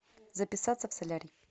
записаться в солярий